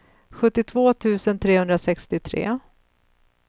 sjuttiotvå tusen trehundrasextiotre